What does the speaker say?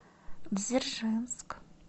дзержинск